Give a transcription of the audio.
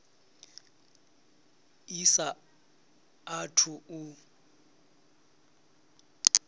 i sa a thu u